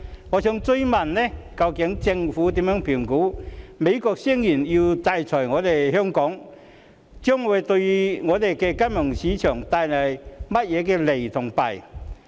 我想追問政府，對於美國聲言要制裁香港，政府如何評估這對本港金融市場會有何利弊？